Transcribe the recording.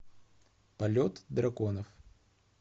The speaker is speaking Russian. полет драконов